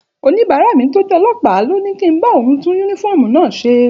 Òníbàárá mi tó jẹ́ ọlọ́pàá ló ní kí n bá òun tún yúnífọ́ọ̀mù náà ṣe